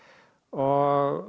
og